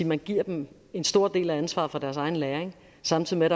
man giver dem en stor del af ansvaret for deres egen læring samtidig med